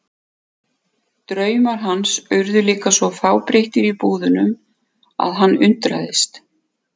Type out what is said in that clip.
Draumar hans urðu líka svo fábreyttir í búðunum að hann undraðist.